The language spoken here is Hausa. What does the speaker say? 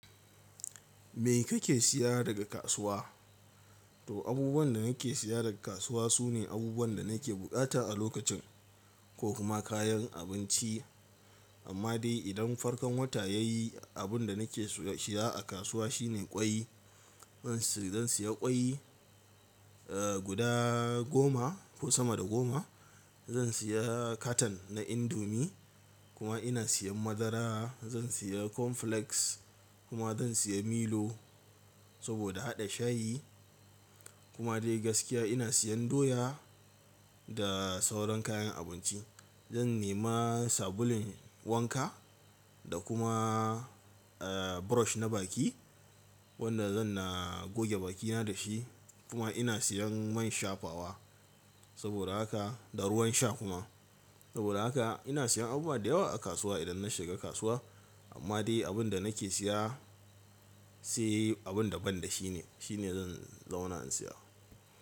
Me kake siya daga kasuwa? To abubuwan da nake siya daga kasuwa sune abubuwan da nake bukata a lokacin ko kuma kayan abinci. Amma dai idan farkan wata ya yi abun da nake siya a kasuwa shine ƙwai. Zan siya ƙwai, eh guda goma ko sama da goma. Zan siya katon na indomi kuma ina siyan madara. Zan siya cornflakes kuma zan siya milo saboda haɗa shayi. Kuma dai gaskiya ina siyan doya da sauran kayan abinci. Zan nema sabulun wanka da kuma brush na baki wanda zan na goge bakina da shi. Kuma ina siyan man shafawa saboda haka da ruwan sha kuma. Saboda haka ina siyan abubuwa da yawa a kasuwa idan na shiga kasuwa. Amma dai abun da nake siya sai abun da ban da shi ne, shi ne zan zauna in siya.